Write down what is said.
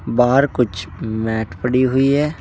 बाहर कुछ मैट पड़ी हुई है।